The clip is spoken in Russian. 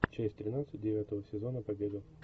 часть тринадцать девятого сезона побега